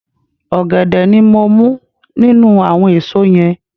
Ògèdè ni mo mú nínú àwon èso yen